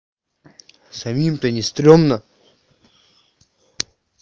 самим то не стрёмно